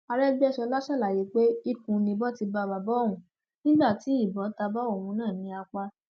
àrẹgbẹsọla ṣàlàyé pé ikùn ni ìbọn ti bá bàbá òun nígbà tí ìbọn ta bá òun náà ní apá